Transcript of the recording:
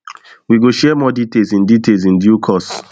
we go share more details in details in due course